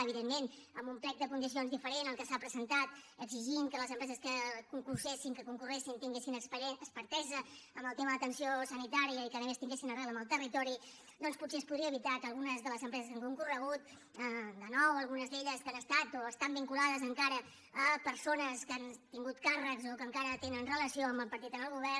evidentment amb un plec de condicions diferent al que s’ha presentat exigint que les empreses que concursessin que concorreguessin tinguessin expertesa en el tema de l’atenció sanitària i que a més tinguessin arrel en el territori doncs potser es podria evitar que algunes de les empreses que han concorregut de nou o algunes d’elles que han estat o estan vinculades encara a persones que han tingut càrrecs o que encara tenen relació amb el partit en el govern